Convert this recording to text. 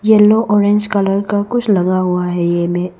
Yellow orange colour का कुछ लगा हुआ है यहाँ में।